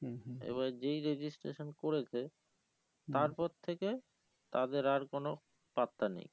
এবার যেই registration করেছে তারপর থেকে তাদের আর কোনো পাত্তা নেই